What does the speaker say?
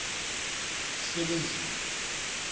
sebenzile